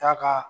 Ta ka